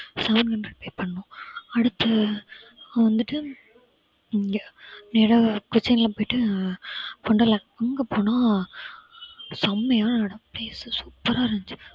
seven hundred pay பண்ணோம் அடுத்து வந்துட்டு, இங்க நேரா கொச்சின் எல்லாம் போயிட்டு wonderland அங்க போனா செமையான இடம். place super ஆ இருந்துச்சு.